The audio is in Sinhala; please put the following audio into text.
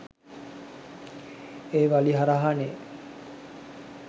ඒ වලි හරහා නෙ.